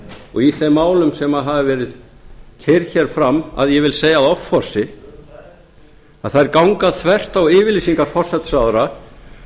og í þeim málum sem hafa verið keyrð hér fram að ég vil segja offorsi að þær ganga þvert á yfirlýsingar forsætisráðherra